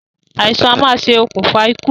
Àìsàn a máa ṣe òkùnfà ikú